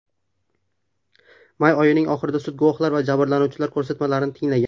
May oyining oxirida sud guvohlar va jabrlanuvchilar ko‘rsatmalarini tinglagan .